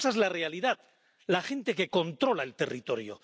Esa es la realidad la gente que controla el territorio.